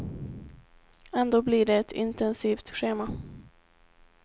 Ändå blir det ett intensivt schema.